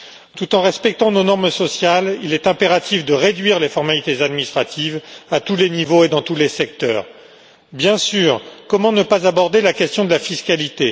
Tout en respectant nos normes sociales, il est impératif de réduire les formalités administratives à tous les niveaux et dans tous les secteurs. Bien sûr, comment ne pas aborder la question de la fiscalité.